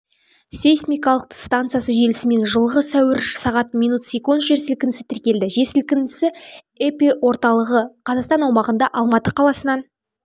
сейсмикалық станциясы желісімен жылғы сәуір сағат мин сек жерсілкінісі тіркелді жерсілкінісі эпиорталығы қазақстан аумағында алматы қаласынан